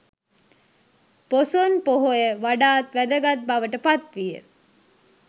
පොසොන් පොහොය වඩාත් වැදගත් බවට පත්විය.